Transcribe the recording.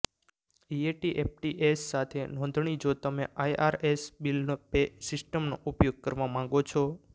ઇએટીએફટીએસ સાથે નોંધણી જો તમે આઇઆરએસ બિલ પે સિસ્ટમનો ઉપયોગ કરવા માગો છો